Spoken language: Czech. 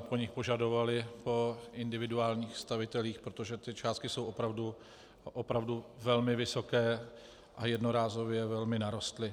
po nich požadovali, po individuálních stavitelích, protože ty částky jsou opravdu velmi vysoké a jednorázově velmi narostly.